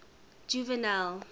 juvenal